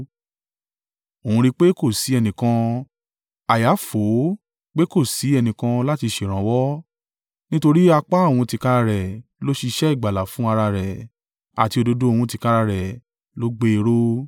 Òun rí i pé kò sí ẹnìkan, àyà fò ó pé kò sí ẹnìkan láti ṣèrànwọ́; nítorí apá òun tìkára rẹ̀ ló ṣiṣẹ́ ìgbàlà fún ara rẹ̀, àti òdodo òun tìkára rẹ̀ ló gbé e ró.